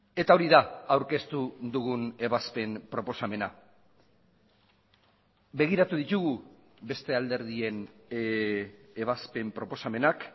eta hori da aurkeztu dugun ebazpen proposamena begiratu ditugu beste alderdien ebazpen proposamenak